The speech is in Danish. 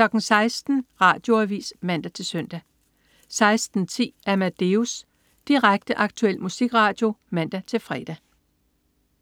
16.00 Radioavis (man-søn) 16.10 Amadeus. Direkte, aktuel musikradio (man-fre)